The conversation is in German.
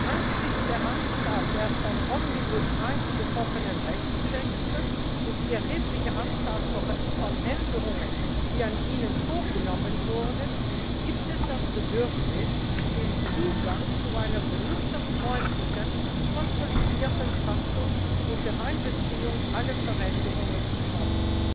Angesichts der Anzahl der von Omnibus I betroffenen Rechtstexte und der erheblichen Anzahl von Änderungen, die an ihnen vorgenommen wurden, gibt es das Bedürfnis, den Zugang zu einer benutzerfreundlichen konsolidierten Fassung unter Einbeziehung aller Veränderungen zu schaffen.